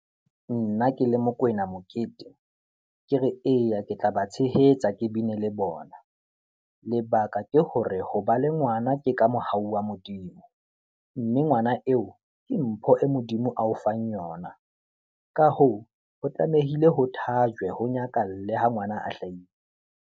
Nna ke le Mokwena Mokete, ke re eya, ke tla ba tshehetsa ke bine le bona. Lebaka ke hore ho ba le ngwana ke ka mohau wa Modimo mme ngwana eo ke mpho e Modimo a o fang yona. Ka hoo, ho tlamehile ho thajwe, ho nyakalle ha ngwana a hlahile.